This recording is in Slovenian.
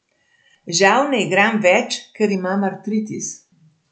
Žal ne igram več, ker imam artritis.